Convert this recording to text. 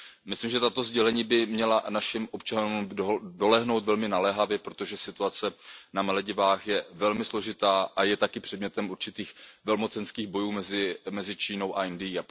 Myslím, že tato sdělení by měla k našim občanům dolehnout velmi naléhavě, protože situace na Maledivách je velmi složitá a je také předmětem určitých velmocenských bojů mezi Čínou a Indií.